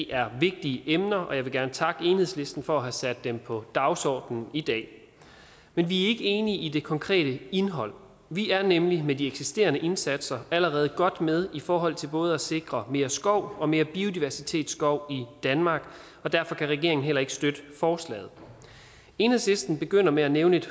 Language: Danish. er vigtige emner og jeg vil gerne takke enhedslisten for at have sat dem på dagsordenen i dag men vi er ikke enige i det konkrete indhold vi er nemlig med de eksisterende indsatser allerede godt med i forhold til både at sikre mere skov og mere biodiversitetsskov i danmark og derfor kan regeringen heller ikke støtte forslaget enhedslisten begynder med at nævne et